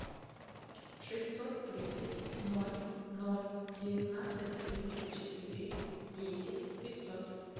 шестьсот тридцать ноль ноль девятнадцать тридцать четыре десять пятьсот